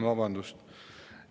Vabandust!